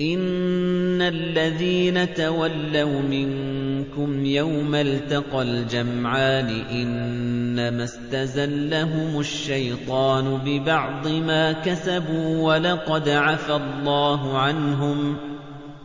إِنَّ الَّذِينَ تَوَلَّوْا مِنكُمْ يَوْمَ الْتَقَى الْجَمْعَانِ إِنَّمَا اسْتَزَلَّهُمُ الشَّيْطَانُ بِبَعْضِ مَا كَسَبُوا ۖ وَلَقَدْ عَفَا اللَّهُ عَنْهُمْ ۗ